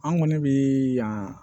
An kɔni bi yan